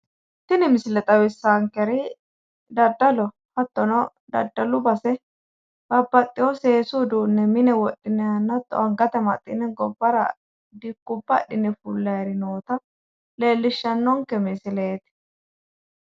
tini misile xawissaannonkeri dadaloho hattono dadalu base babaxewo seesu uduunni mine hattono angate amaxxine wodhinannihunna dikko adhine fullanihu noota leellishshannonke misileeti.